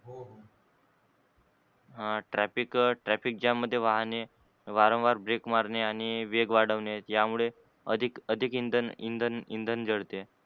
ह traffic jam मध्ये वाहने वारंवार break मारणे आणि वेग वाढवणे यामुळे अधिक इंधन इंधन जळते.